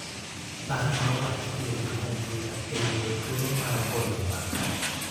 Par ane wach tiyo gi kompyuta e yudo thuolo mar goyo mbaka.